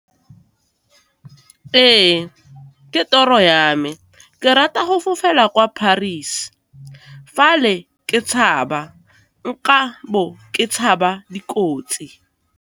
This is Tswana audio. Ee, ke toro ya me, ke rata go fofela kwa Paris, fa le ke tshaba nka bo ke tshaba dikotsi.